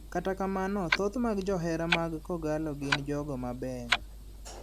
Kata kamano thoth mag jo johera mag kogallo gin jogo mabeyo.